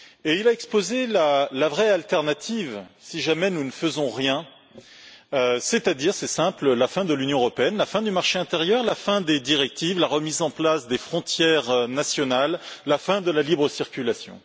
Il a exposé la vraie alternative si jamais nous ne faisons rien, c'est à dire c'est simple la fin de l'Union européenne, la fin du marché intérieur, la fin des directives, la remise en place des frontières nationales, la fin de la libre circulation.